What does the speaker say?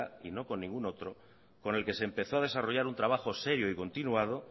y no con ningún otro con el que se empezó a desarrollar un trabajo serio y continuado